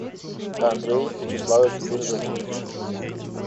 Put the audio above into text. андрей вячеславович березовский